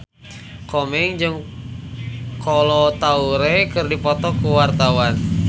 Komeng jeung Kolo Taure keur dipoto ku wartawan